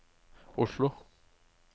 Oslo